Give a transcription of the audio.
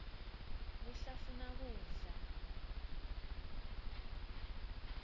kuhlafuna kudla